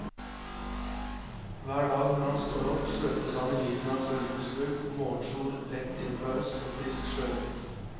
Hver dag når han står opp, svøpes han i lyden av bølgeskvulp, morgensol rett inn fra øst og frisk sjøluft.